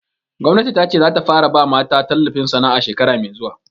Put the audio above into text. Gwamnati ta ce za ta fara ba mata tallafin sana'a shekara mai zuwa